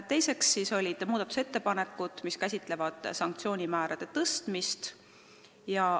Teiseks on eelnõus ettepanekud, mis käsitlevad sanktsioonimäärade tõstmist.